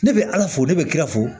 Ne bɛ ala fo ne bɛ ki ka fo